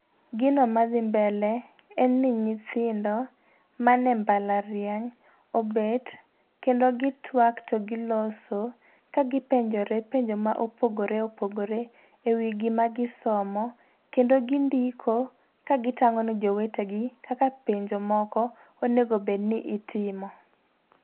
Gino madhi mbele, en ni nyithindo, mane mbalariany, obet kendo gitwak to giloso, ka gipenjore penjo mopogore opogore e wii gima gisomo, kendo gindiko ka gitang'o ne jowetegi kaka penjo moko onego bed ni itimo.